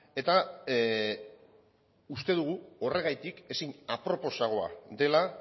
eta uste dugu horregatik ezin aproposagoa dela